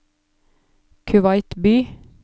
Kuwait by